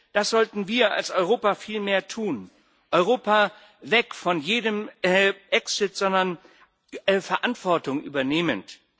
Das sollten wir als Europa viel mehr tun Europa weg von jedem Exit, sondern Verantwortung übernehmend.